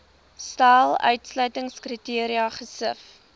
stel uitsluitingskriteria gesif